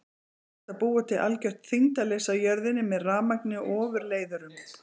Er hægt að búa til algjört þyngdarleysi á jörðinni með rafmagni og ofurleiðurum?